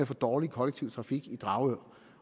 for dårlig kollektiv trafik i dragør